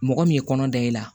Mɔgɔ min ye kɔnɔ da i la